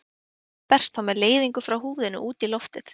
Varmi berst þá með leiðingu frá húðinni út í loftið.